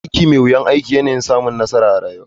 Aiki mai wuyar aiki yana yin samun nassara rayuwa.